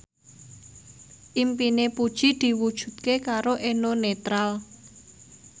impine Puji diwujudke karo Eno Netral